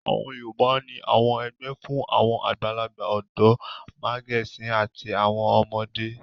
Àwọn Yorùbá ní àwọn ẹgbẹ́ fún àwọn àgbàlagbà, ọ̀dọ́, màgẹ̀sín àti àwọn ọmọdé.